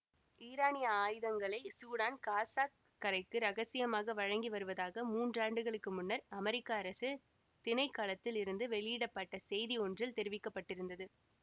ஈரானிய ஆயுதங்களை சூடான் காசாக் கரைக்கு இரகசியமாக வழங்கி வருவதாக மூன்றாண்டுகளுக்கு முன்னர் அமெரிக்க அரசு திணைக்களத்தில் இருந்து வெஅலியிடப்பட்ட செய்தி ஒன்றில் தெரிவிக்க பட்டிருந்தது